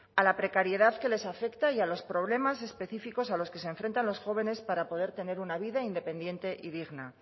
a la precariedad que les afecta y a los problemas específicos a los que se enfrentan los jóvenes para poder tener una vida independiente y digna